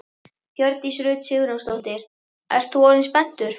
Hjördís Rut Sigurjónsdóttir: Ert þú orðinn spenntur?